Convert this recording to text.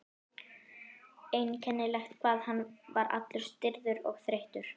Einkennilegt hvað hann var allur stirður og þreyttur.